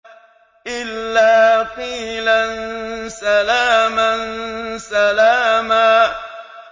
إِلَّا قِيلًا سَلَامًا سَلَامًا